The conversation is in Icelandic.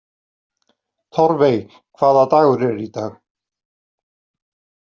Torfey, hvaða dagur er í dag?